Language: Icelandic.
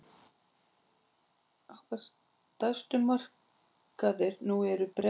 Okkar stærstu markaðir nú eru Bretland og Bandaríkin.